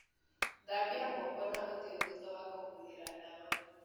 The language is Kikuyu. Thambia moko na ũthiũ thutha wa kũhuhĩra ndawa.